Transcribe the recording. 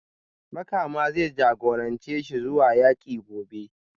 Makama zai jagorance shi zuwa yaki gobe